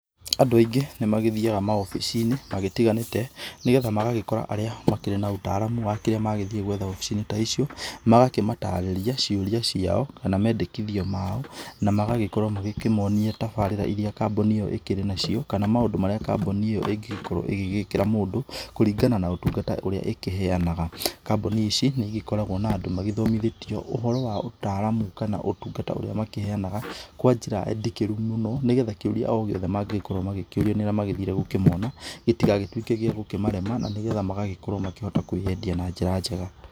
Andũ aingĩ nĩ magĩthiaga mawobici-inĩ magĩtiganĩte nĩgetha magagĩkora arĩa makĩrĩ na ũtaaramu wa kĩrĩa magĩthiĩ gwetha obici-inĩ ta icio magagĩmatarĩria ciũria ciao na mendekithio mao na magagĩkorwa magĩkĩmonia tabarira irĩa kambuni ĩyo ĩkĩrĩ nayo kana maũndũ marĩa kambuni ĩyo ĩngĩkorwo ĩgĩkĩra mũndũ kũringana na ũtungata ũrĩa ĩkĩheanaga. Kambuni ici nĩ ikoragwo na andũ mathomithĩtio ũhoro wa ũtaramu kana ũtungata ũrĩa makĩheanaga kwa njĩra ndikĩru mũno nĩgetha kĩũria o gĩothe mangĩkorwo makĩũrio nĩ arĩa magĩthire kũmona gĩtigagĩtuĩke gĩa kũmarema na nĩgetha magagĩkorwo makĩhota kwĩyendia na njĩra njega.